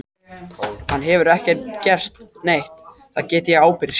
Hann hefur ekki gert neitt, það get ég ábyrgst.